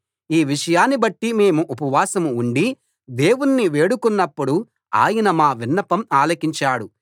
ఈ విషయాన్ని బట్టి మేము ఉపవాసం ఉండి దేవుని వేడుకొన్నప్పుడు ఆయన మా విన్నపం ఆలకించాడు